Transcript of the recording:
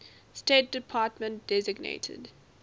state department designated